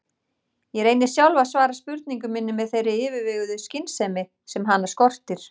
Ég reyni sjálf að svara spurningu minni með þeirri yfirveguðu skynsemi sem hana skortir.